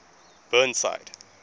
burnside